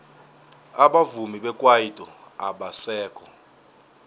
abavumi bekwaito abasekho